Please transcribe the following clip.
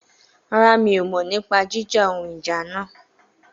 Rárá, mi ò mọ̀ nípa jíjà ohun ìjà náà